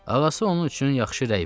Ağası onun üçün yaxşı rəy verib.